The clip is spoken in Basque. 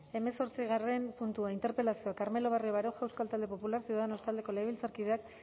hemezortzigarren puntua interpelazioa carmelo barrio baroja euskal talde popularra ciudadanos taldeko legebiltzarkideak